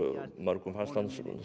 mörgum fannst hann